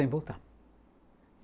Sem voltar.